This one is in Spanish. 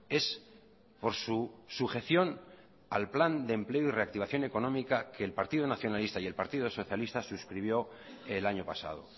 es por su sujeción al plan de empleo y reactivación económica que el partido nacionalista y el partido socialista suscribió el año pasado